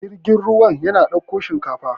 jirgin ruwa yana ɗaukar shinkafa